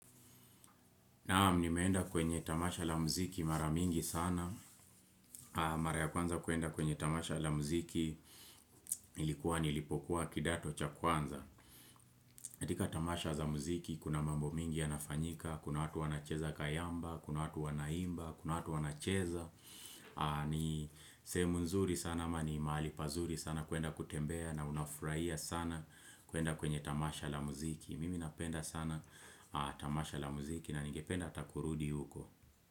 Naam nimeenda kwenye tamasha la muziki mara mingi sana. Mara ya kwanza kuenda kwenye tamasha la muziki ilikuwa nilipokuwa kidato cha kwanza. Katika tamasha za muziki kuna mambo mengi yanafanyika. Kuna watu wanacheza kayamba, kuna watu wanaimba, kuna watu wanacheza. Ni sehemu nzuri sana ama ni mahali pazuri sana kuenda kutembea na unafurahia sana kuenda kwenye tamasha la muziki. Mimi napenda sana tamasha la muziki na ningependa hata kurudi huko.